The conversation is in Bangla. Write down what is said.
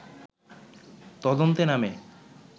তদন্তে নামে